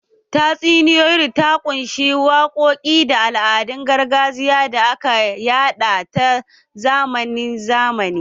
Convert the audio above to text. Tatsuniyar ta ƙunshi waƙoƙi da al'adun gargajiya da aka yada ta zamani zamani